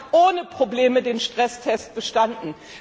Dexia hat ohne Probleme den Stresstest bestanden.